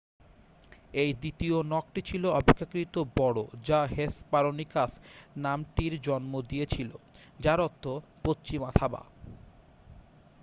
"এর দ্বিতীয় নখটি ছিল অপেক্ষাকৃত বড় যা হেসপারোনিকাস নামটির জন্ম দিয়েছিল যার অর্থ "পশ্চিমা থাবা।""